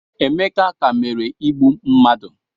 Emeka ka mere igbu mmadụ